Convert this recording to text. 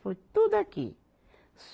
Foi tudo aqui.